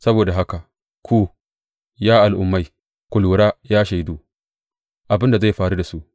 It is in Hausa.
Saboda haka ku, ya al’ummai; ku lura Ya shaidu, abin da zai faru da su.